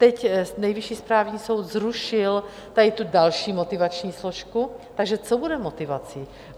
Teď Nejvyšší správní soud zrušil tady tu další motivační složku, takže co bude motivací?